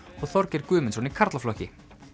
og Þorgeir Guðmundsson í karlaflokki